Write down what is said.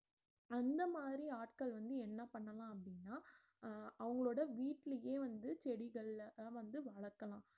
அந்த மாறி ஆட்கள் வந்து என்ன பண்ணலாம் அப்படினா அஹ் அவங்களோட வீட்டுலையே வந்து செடிகள வந்து வளர்க்கலாம்